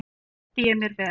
Þar undi ég mér vel.